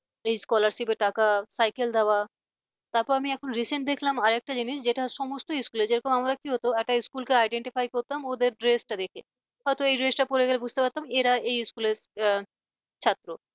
যেই scholarship টাকা cycle দেওয়া তারপর আমি এখন recent দেখলাম আর একটা জিনিস যেটা সমস্ত school যেরকম আমাদের কি হত একটা school কে identify করতাম ওদের dress টা দেখে হয়তো এই dress টা পড়ে গেলে বুঝতে পারতাম এরা এই school র ছাত্র